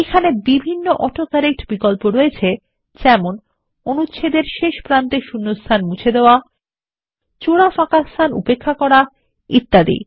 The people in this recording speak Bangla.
এইখানে বিভিন্ন অটো কারেক্ট বিকল্প রয়েছে যেমন অনুচ্ছেদের শেষ ও প্রারম্ভে শূণ্যস্থান মুছে ফেলুন জোড়া ফাঁকাস্থান উপেক্ষাকরা এবং ইত্যাদি